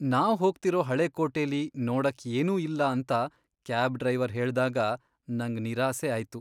ನಾವ್ ಹೋಗ್ತಿರೋ ಹಳೆ ಕೋಟೆಲಿ ನೋಡಕ್ ಏನೂ ಇಲ್ಲ ಅಂತ ಕ್ಯಾಬ್ ಡ್ರೈವರ್ ಹೇಳ್ದಾಗ ನಂಗ್ ನಿರಾಸೆ ಆಯ್ತು.